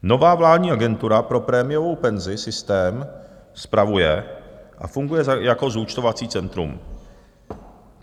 Nová vládní agentura pro prémiovou penzi systém spravuje a funguje jako zúčtovací centrum.